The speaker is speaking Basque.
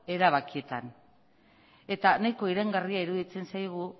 erabakietan eta nahiko iraingarria iruditzen zaigu